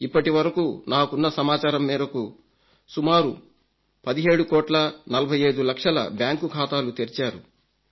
ఇప్పటివరకు నాకున్న సమాచారం మేరకు సుమారు 17 కోట్ల 45 లక్షల బ్యాంకు ఖాతాలు తెరిచారు